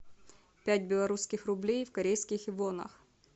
пять белорусских рублей в корейских вонах